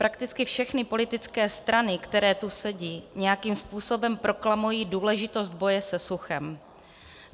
Prakticky všechny politické strany, které tu sedí, nějakým způsobem proklamují důležitost boje se suchem.